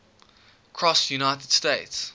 cross united states